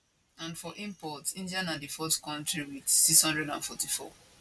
and for imports india na di fourth kontri wit 644